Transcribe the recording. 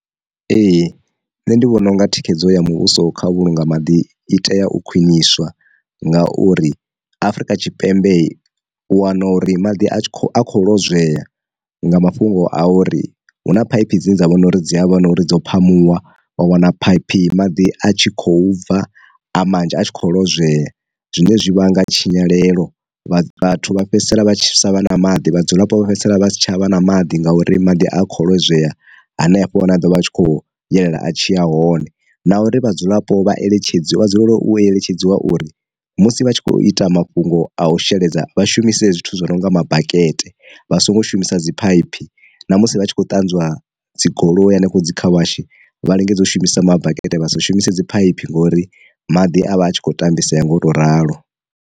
Ee nṋe ndi vhona unga thikhedzo ya muvhuso kha vhulunga maḓi i tea u khwiniswa nga uri afrika tshipembe u wana uri maḓi a tshi kho a kho lozwea nga mafhungo a uri hu na phaiphi dzine dza vhona uri dzi havha na uri dzo phamuwa wa wana phaiphi maḓi a tshi khou bva a manzhi a tshi kho lozwea. Zwine zwi vhanga tshinyalelo vha vhathu vha fhedzisela vha tshi sa vha na maḓi, vhadzulapo vha fhedzisela vha si tshavha na maḓi nga uri maḓi a kho lozwea hanefho wane a dovha a tshi khou yelela a tshi ya hone, na uri vhadzulapo vha eletshedzwa vha dzulele u eletshedziwa uri musi vha tshi kho ita mafhungo a u sheledza vha shumise zwithu zwo no nga makete vha songo shumisa dzi phaiphi na musi vha tshi khou ṱanzwiwa dzi goloi hanefho dzi car wash, vha lingedza u shumisa ma bakete vha si shumise dzi phaiphi ngori maḓi a vha a tshi khou tambisea nga u to ralo.